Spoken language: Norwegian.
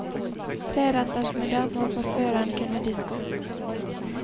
Treretters middag må forføreren kunne diske opp.